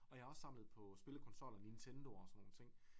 Og jeg har også samlet på spillekonsoller Nintendoer og sådan nogle ting